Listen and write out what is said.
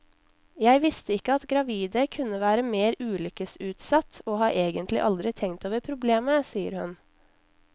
Jeg visste ikke at gravide kunne være mer ulykkesutsatt, og har egentlig aldri tenkt over problemet, sier hun.